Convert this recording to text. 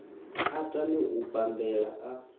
a tame u bambela a